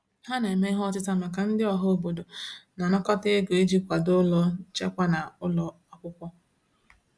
Ha na-eme ihe ọtịta maka ndị ọhaobodo na-anakọta ego iji kwado ụlọ nchekwa na ụlọ akwụkwọ.